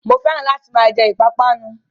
Mo fẹ́ràn láti máa jẹ ìpápánu